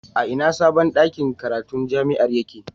A ina sabon ɗakin karatu na jami'ar yake?